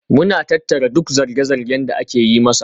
Muna tattara duk zarge-zargen da ake yi masa.